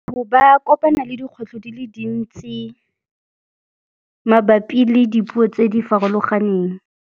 Ba kopana le dikgwetlho di le dintsi mabapi le dipuo tse di farologaneng.